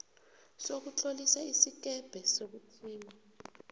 sokutlolisa isikebhe sokuthiya